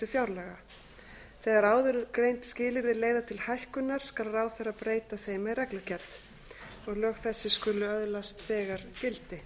fjárlaga þegar áðurgreind skilyrði leiða til hækkunar skal ráðherra breyta þeim með reglugerð og lög þessi skulu öðlast þegar gildi